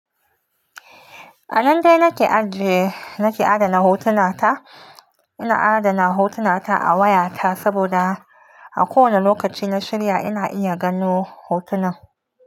A nan dai nake ajiye, nake adana hotuna ta. Ina adana hotuna ta a wayata saboda a kowane lokaci na shirya ina iya gano hotunan.